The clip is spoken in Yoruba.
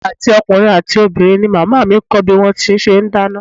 Àti ọkùnrin àti obìnrin ni màmá mi kọ́ bí wón ti ń ṣe dáná.